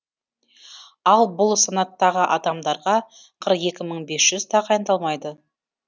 ал бұл санаттағы адамдарға қырық екі мың бес жүз тағайындалмайды